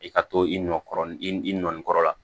I ka to i nɔ kɔrɔ i i nɔ kɔrɔ la